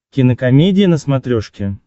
кинокомедия на смотрешке